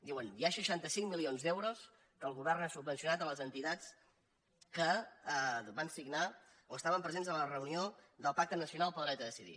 diuen hi ha seixanta cinc milions d’euros amb què el govern ha subvencionat les enti·tats que van signar o estaven presents a la reunió del pacte nacional pel dret a decidir